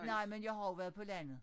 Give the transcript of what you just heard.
Nej men jeg har jo været på landet